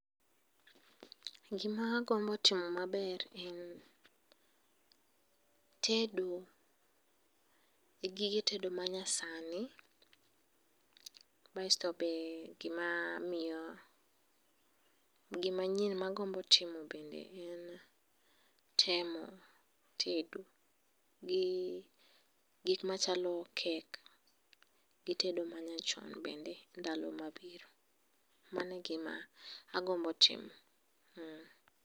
Gimagombo timo maber en, tedo gigige tedo manyasani, basto be gimamiyo gimanyien ma agombo timo bende en temo tedo gi gik machalo kek gi tedo manyachon bende ndalo mabiro mano e gima agombo timo